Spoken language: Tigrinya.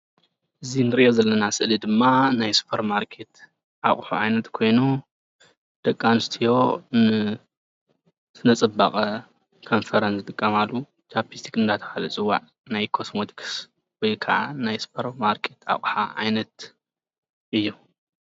እዚ እንሪኦ ዘለና ስእሊ ድማ ናይ ስፖርማርኬት አቑሑ ዓይነት ኮይኑ ደቂ አንስትዮ ንስነፅባቐ ከንፈረን ዝጥቀማሉ ቻፒስቲክ እናተባህለ ዝፅዋዕ ናይ ኮስሞቲክስ ወይ ከዓ ናይ ስፖርማርኬት አቕሓ ዓይነት እዩ።